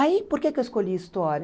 Aí, por que que eu escolhi história?